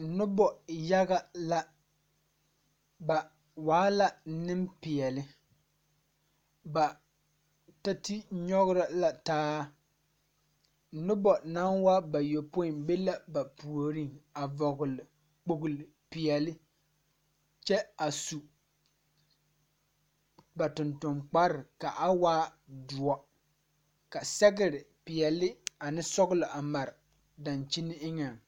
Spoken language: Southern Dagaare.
Nobɔ yaga la ba waa la neŋpeɛɛle ba ta te nyogro la taa nobɔ naŋ waa bayɔpoi be la ba puoriŋ a vɔgle kpogle peɛɛle kyɛ a su ba tonton kparre ka a waa doɔ ka sɛgre peɛɛl ane sɔglɔ a mare dankyine eŋɛŋ.